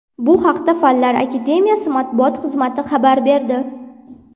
Bu haqda Fanlar Akademiyasi matbuot xizmati xabar berdi .